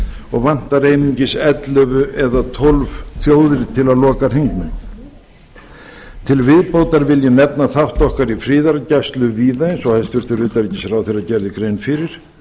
og vantar einungis ellefu eða tólf þjóðir til að loka hringnum til viðbótar vil ég nefna þátt okkar í friðargæslu víða eins og hæstvirtur utanríkisráðherra gerði grein fyrir